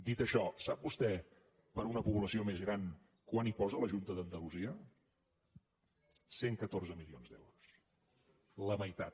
dit això sap vostè per una població més gran quant hi posa la junta d’andalusia cent catorze milions d’euros la meitat